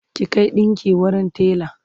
ki Kai ɗinƙin wurin tela!